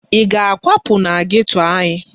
Ị ga-akwapụ na geto anyị?